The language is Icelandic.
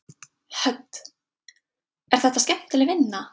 Hödd: Er þetta skemmtileg vinna?